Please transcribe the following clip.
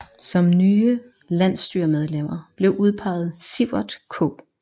Som nye landsstyremedlemmer blev udpeget Siverth K